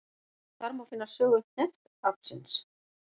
Þar má finna sögu hneftaflsins.